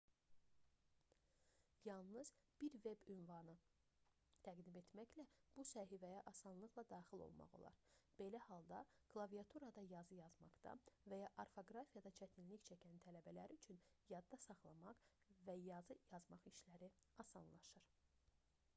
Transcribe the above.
yalnız bir veb ünvan təqdim etməklə bu səhifəyə asanlıqla daxil olmaq olar belə halda klaviaturada yazı yazmaqda və ya orfoqrafiyada çətinlik çəkən tələbələr üçün yadda saxlamaq və yazı yazmaq işləri asanlaşır